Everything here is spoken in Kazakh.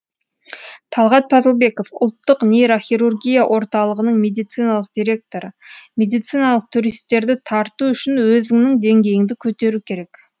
талғат пазылбеков ұлттық нейрохирургия орталығының медициналық директоры медициналық туристерді тарту үшін өзіңнің деңгейіңді көтеру керек